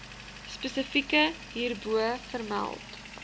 spesifiek hierbo vermeld